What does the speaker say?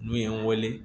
N'u ye n weele